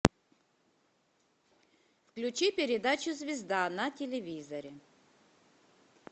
включи передачу звезда на телевизоре